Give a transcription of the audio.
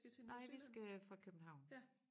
Nej vi skal fra København